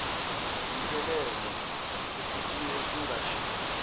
zinselelo okubuye kungashiwo